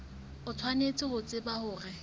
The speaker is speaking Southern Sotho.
o tshwanetse ho tseba hore